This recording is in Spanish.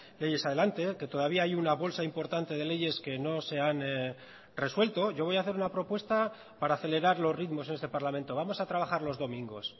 leyes adelante que todavía hay una bolsa importante de leyes que no se han resuelto yo voy a hacer una propuesta para acelerar los ritmos en este parlamento vamos a trabajar los domingos